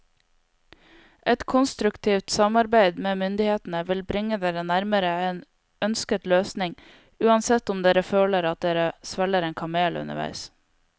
Et konstruktivt samarbeid med myndighetene vil bringe dere nærmere en ønsket løsning, uansett om dere føler at dere svelger en kamel underveis.